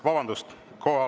Vabandust!